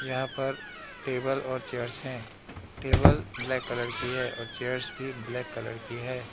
यहां पर टेबल और चेयर्स है टेबल ब्लैक कलर की है और चेयर्स भी ब्लैक कलर की है।